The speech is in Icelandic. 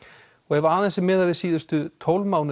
ef aðeins er miðað við síðustu tólf mánuði